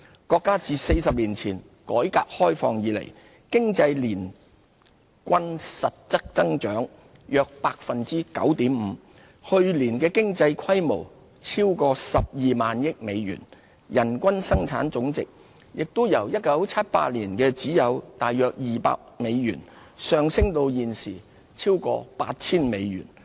國家自40年前改革開放以來，經濟年均實質增長約 9.5%， 去年經濟規模超過 120,000 億美元，人均生產總值亦由1978年只有約200美元，上升至現時超過 8,000 美元。